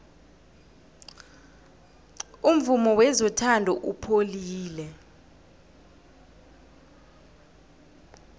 umvumo wezothando upholile